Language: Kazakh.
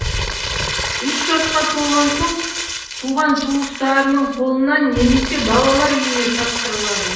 үш жасқа толған соң туған туыстарының қолына немесе балалар үйіне тапсырылады